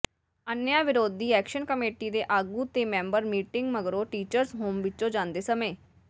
ਅਨਿਆਂ ਵਿਰੋਧੀ action committee ਦੇ ਆਗੂ ਤੇ ਮੈਂਬਰ ਮੀਟਿੰਗ ਮਗਰੋਂ ਟੀਚਰਜ਼ ਹੋਮ ਵਿੱਚੋਂ ਜਾਂਦੇ ਸਮੇਂ